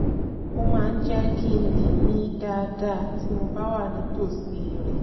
ó máa ń jẹ́ kí n má lè mí dáadáa tí mo bá wà nítòsí rẹ̀